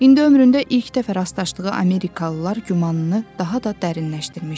İndi ömründə ilk dəfə rastlaşdığı Amerikalılar gümanını daha da dərinləşdirmişdi.